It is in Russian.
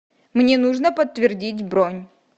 мне нужно подтвердить бронь